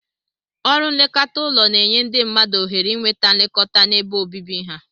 Ọrụ nlekọta ụlọ na-enye ndị mmadụ ohere inweta nlekọta n'ebe obibi ha.